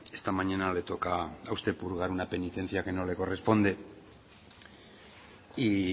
esta mañana le toca a usted purgar una penitencia que no le corresponde y